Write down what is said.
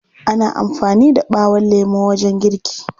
Ana amfani da ɓawon lemo wajen girki.